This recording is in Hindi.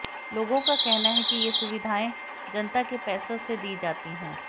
लोगों का कहना है कि ये सुविधाएं जनता के पैसों से दी जाती हैं